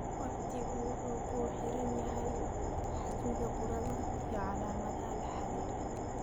Waqtigu wuxuu ku xiran yahay xajmiga burada iyo calaamadaha la xiriira.